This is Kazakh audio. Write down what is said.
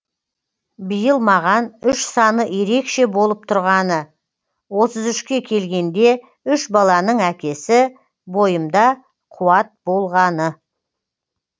биыл маған үш саны ерекше болып тұрғаны отыз үшке келгенде үш баланың әкесі бойымда қуат болғаны